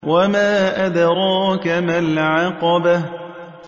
وَمَا أَدْرَاكَ مَا الْعَقَبَةُ